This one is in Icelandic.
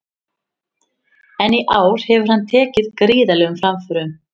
En í ár hefur hann tekið gríðarlegum framförum.